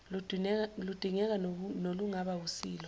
ludingeka nolungaba wusilo